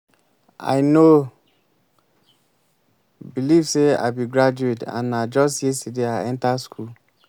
i no believe say i be graduate and na just yesterday i enter school